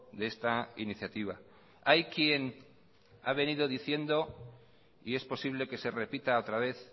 de esta iniciativa hay quien ha venido diciendo y es posible que se repita otra vez